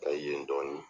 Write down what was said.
Ka ye dɔɔnin